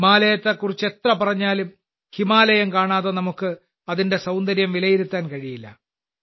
ഹിമാലയത്തെക്കുറിച്ച് എത്ര പറഞ്ഞാലും ഹിമാലയം കാണാതെ നമുക്ക് അതിന്റെ സൌന്ദര്യം വിലയിരുത്താൻ കഴിയില്ല